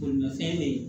Bolimafɛn bɛ yen